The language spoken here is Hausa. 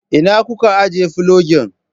ina kuka ijiye filogin?